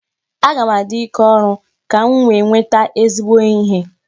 Aga m adị ike ọrụ ka m wee nweta ezigbo ihe